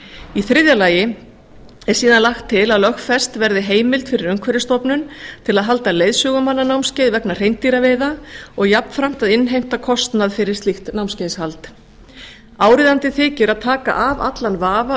í þriðja lagi er síðan lagt til að lögfest verði heimild fyrir umhverfisstofnun til að halda leiðsögumannanámskeið vegna hreindýraveiða og jafnframt innheimtu kostnaðar við slíkt námskeiðahald áríðandi þykir að taka af allan vafa